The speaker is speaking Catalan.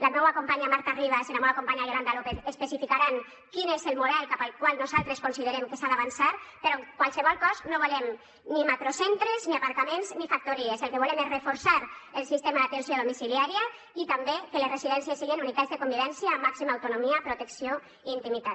la meua companya marta ribas i la meua companya yolanda lópez especificaran quin és el model cap al qual nosaltres considerem que s’ha d’avançar però en qualsevol cas no volem ni macrocentres ni aparcaments ni factories el que volem és reforçar el sistema d’atenció domiciliària i també que les residències siguin unitats de convivència amb màxima autonomia protecció i intimitat